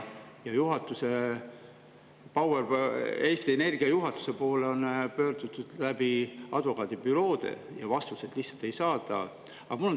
Eesti Energia juhatuse poole on pöördutud advokaadibüroode kaudu, vastuseid lihtsalt ei saada.